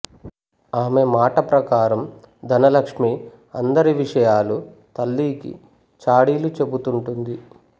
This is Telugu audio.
ఆమె మాట ప్రకారం ధనలక్ష్మి అందరి విషయాలు తల్లికి చాడీలు చెబుతుంటుంది